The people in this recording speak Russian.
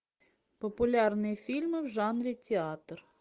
популярные фильмы в жанре театр